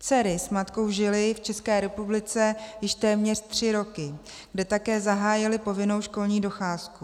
Dcery s matkou žily v České republice již téměř tři roky, kde také zahájily povinnou školní docházku.